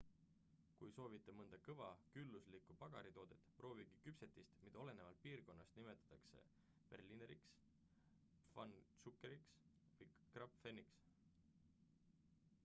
kui soovite mõnda kõva külluslikku pagaritoodet proovige küpsetist mida olenevalt piirkonnast nimetatakse berlineriks pfannkucheniks või krapfeniks